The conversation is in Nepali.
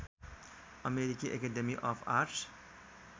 अमेरिकी एकेडेमी अफ आर्ट्स